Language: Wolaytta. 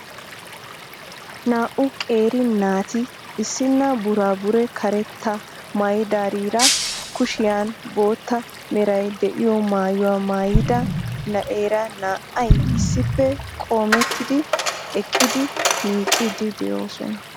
Naa"u qeeri naati issinna buraabure karettaa maayidaariira kushiyan bootta meray de'iyo maayuwa maayidaa na'eera naa"ay issippe qoometti eqqidi miicciiddi de'oosona.